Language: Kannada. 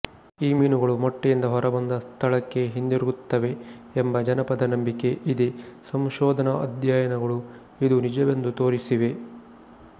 ಈ ಮೀನುಗಳು ಮೊಟ್ಟೆಯಿಂದ ಹೊರಬಂದ ಸ್ಥಳಕ್ಕೇ ಹಿಂದಿರುಗುತ್ತವೆ ಎಂಬ ಜನಪದ ನಂಬಿಕೆ ಇದೆ ಸಂಶೋಧನಾ ಅಧ್ಯಯನಗಳು ಇದು ನಿಜವೆಂದು ತೋರಿಸಿವೆ